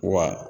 Wa